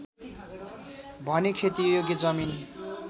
भने खेतीयोग्य जमिन